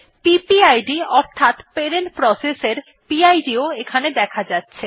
PPID অর্থাৎ parent process এর PIDও এখানে দেখা যাচ্ছে